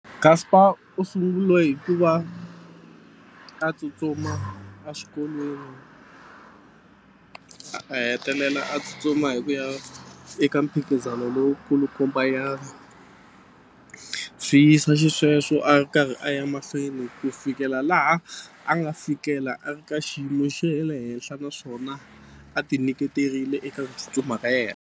Caster u sungule hi ku va a tsutsuma exikolweni a hetelela a tsutsuma hi ku ya eka mphikizano lowu kulukumba nyana swi yisa xisweswo a karhi a ya mahlweni ku fikela laha a nga fikela a ri ka xiyimo xe le henhla naswona a ti nyiketerile eka ku tsutsuma ka yena.